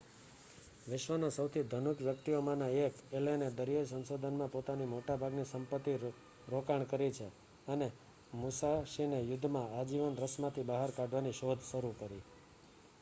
વિશ્વના સૌથી ધનિક વ્યક્તિઓમાંના 1 એલેને દરિયાઈ સંશોધનમાં પોતાની મોટાભાગની સંપત્તિ રોકાણ કરી છે અને મુસાશીને યુદ્ધમાં આજીવન રસમાંથી બહાર કાઢવાની શોધ શરૂ કરી